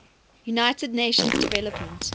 united nations development